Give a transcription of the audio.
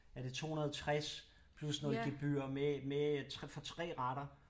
Er det 260 plus noget gebyr med med for 3 retter